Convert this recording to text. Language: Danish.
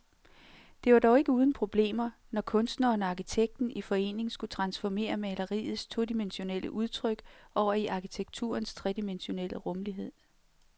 Det var dog ikke uden problemer, når kunstneren og arkitekten i forening skulle transformere maleriets todimensionelle udtryk over i arkitekturens tredimensionelle rumlighed.